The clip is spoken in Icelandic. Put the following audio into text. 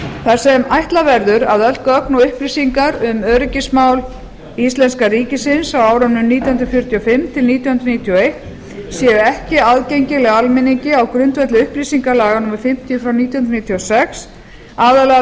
þar sem ætla verður að öll gögn og upplýsingar um öryggismál íslenska ríkisins á árunum nítján hundruð fjörutíu og fimm til nítján hundruð níutíu og eitt séu ekki aðgengileg almenningi á grundvelli upplýsingalaga númer fimmtíu nítján hundruð níutíu og sex aðallega